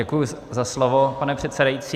Děkuji za slovo, pane předsedající.